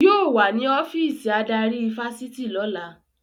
Yóò wà ní ọ́fíìsì adarí ifásitì lọ́la